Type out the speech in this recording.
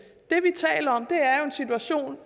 situation